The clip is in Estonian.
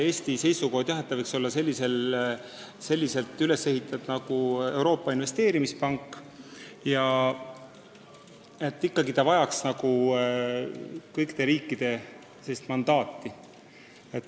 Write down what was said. Eesti seisukoht on pigem, et see võiks olla üles ehitatud nagu Euroopa Investeerimispank ja et see eeldab kõikide riikide mandaati.